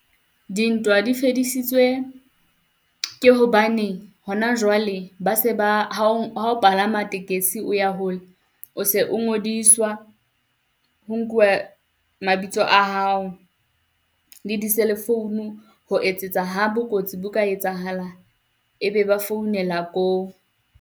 Dintwa di fedisitswe ke hobane hona jwale, ba se ba ha o, ha o palama tekesi o ya hole o se o ngodiswa ho nkuwa mabitso a hao le di-cell founu, ho etsetsa ha botsotsi bo ka etsahala. E be ba founela koo.